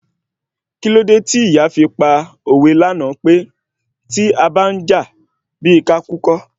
Kílódé tí ìyá fi pa òwe lánàá pé tí abá ń jà bíi ká kú kọ́?